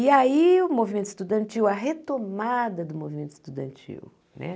E aí o movimento estudantil, a retomada do movimento estudantil.